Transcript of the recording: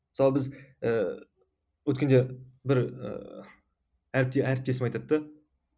мысалы біз ііі өткенде бір і әріптесім айтады да